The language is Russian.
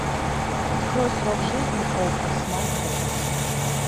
открой срок жизни окко смартбокс